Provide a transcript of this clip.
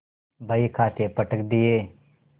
बहीखाते पटक दिये